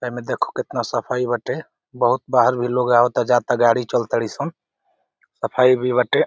एमे देखो कितना सफाई बाटे बहुत बाहर भी लोग आवता जाता गाड़ी चल ताड़ी सन सफाई भी बाटे।